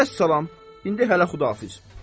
Vəssalam, indi hələ Xüdahafiz.